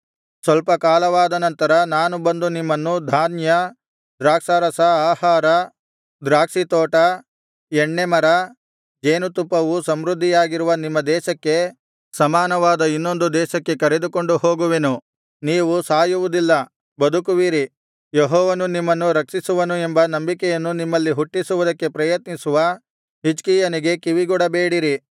ಸ್ವಲ್ಪ ಕಾಲವಾದ ನಂತರ ನಾನು ಬಂದು ನಿಮ್ಮನ್ನು ಧಾನ್ಯ ದ್ರಾಕ್ಷಾರಸ ಆಹಾರ ದ್ರಾಕ್ಷಿತೋಟ ಎಣ್ಣೆಮರ ಜೇನುತುಪ್ಪವು ಸಮೃದ್ಧಿಯಾಗಿರುವ ನಿಮ್ಮ ದೇಶಕ್ಕೆ ಸಮಾನವಾದ ಇನ್ನೊಂದು ದೇಶಕ್ಕೆ ಕರೆದುಕೊಂಡು ಹೋಗುವೆನು ನೀವು ಸಾಯುವುದಿಲ್ಲ ಬದುಕುವಿರಿ ಯೆಹೋವನು ನಿಮ್ಮನ್ನು ರಕ್ಷಿಸುವನು ಎಂಬ ನಂಬಿಕೆಯನ್ನು ನಿಮ್ಮಲ್ಲಿ ಹುಟ್ಟಿಸುವುದಕ್ಕೆ ಪ್ರಯತ್ನಿಸುವ ಹಿಜ್ಕೀಯನಿಗೆ ಕಿವಿಗೊಡಬೇಡಿರಿ